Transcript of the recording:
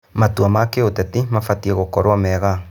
Matua ma kĩũteti mabatiĩ gũkorwo mega.